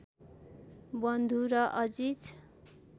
बन्धु र अजिज